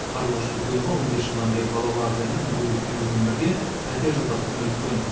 қарлығаш дүкенова он бес жылдан бері балалары және мүгедек күйеуімен бірге пәтер жалдап күнелткен